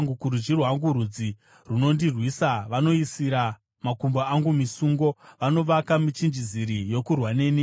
Kurudyi rwangu rudzi runondirwisa; vanoisira makumbo angu misungo, vanovaka michinjiziri yokurwa neni.